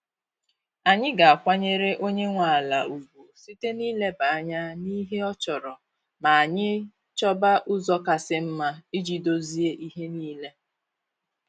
Anyị ga-akwanyere onye nwe ala ugwu site na ị ileba anya n'ihe ọ chọrọ ma anyị chọba ụzọ kasị mma iji dozie ihe niile.